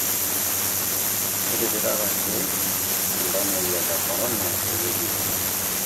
Ketipikaki iltamuoyia le Corona ewueji enye